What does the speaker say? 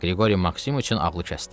Qriqori Maksimiç ağlı kəsdi.